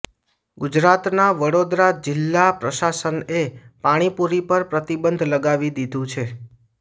ગુજરાતના વડોદરા જિલા પ્રશાસનએ પાણીપુરી પર પ્રતિબંધ લગાવી દીધું છે